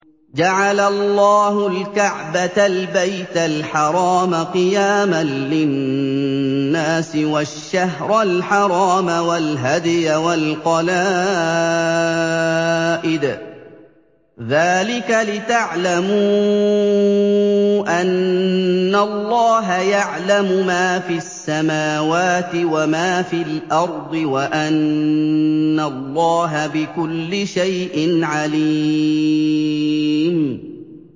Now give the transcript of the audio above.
۞ جَعَلَ اللَّهُ الْكَعْبَةَ الْبَيْتَ الْحَرَامَ قِيَامًا لِّلنَّاسِ وَالشَّهْرَ الْحَرَامَ وَالْهَدْيَ وَالْقَلَائِدَ ۚ ذَٰلِكَ لِتَعْلَمُوا أَنَّ اللَّهَ يَعْلَمُ مَا فِي السَّمَاوَاتِ وَمَا فِي الْأَرْضِ وَأَنَّ اللَّهَ بِكُلِّ شَيْءٍ عَلِيمٌ